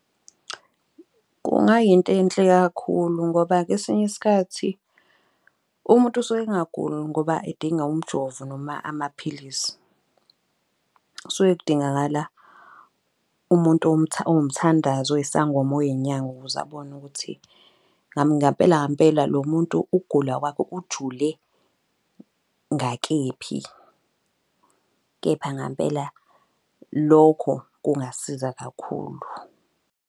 Kungayinto enhle kakhulu ngoba kwesinye isikhathi umuntu usuke engaguli ngoba edinga umjovo noma amaphilisi. Kusuke kudingakala umuntu owumthandazi, oyisangoma noma oy'nyanga. Ukuze abone ukuthi ngampela ngampela lo muntu, ukugula kwakhe ujule ngakephi kepha ngampela lokho kungasiza kakhulu.